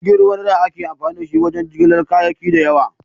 Jirgin ruwa na da ake amfani ta wajen jigilar kayaki da yawa.